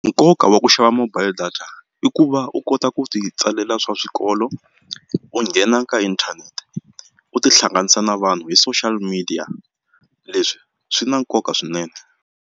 Nkoka wa ku xava mobile data i ku va u kota ku ti tsalela swa swikolo u nghena ka inthanete u tihlanganisa na vanhu hi social media leswi swi na nkoka swinene.